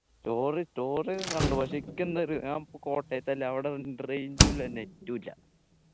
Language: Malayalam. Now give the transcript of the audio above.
story story ഒക്കെ കണ്ടു പക്ഷെ ക്ക് ന്നൊരു ഞാൻ കോട്ടയത്തല്ലേ അവിടെ ഉം range ഉ ഇല്ല net ഉ ഇല്ല